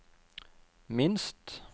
minst